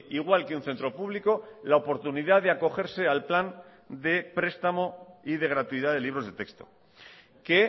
igual que un centro público la oportunidad de acogerse al plan de prestamo y de gratuidad de libros de texto que